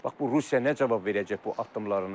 Bax bu Rusiya nə cavab verəcək bu addımlarına görə?